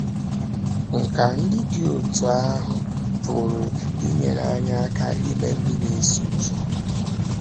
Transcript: Nkà ndị dị otú ahụ pụrụ inyere anyị aka ime ndị na - eso ụzọ.